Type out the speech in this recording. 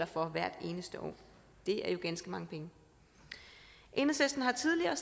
for hvert eneste år og det er jo ganske mange penge enhedslisten har tidligere